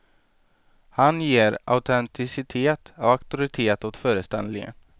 Han ger autenticitet och auktoritet åt föreställningen.